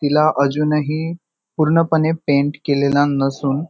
तिला अजूनही पूर्णपणे पेंट केलेला नसून--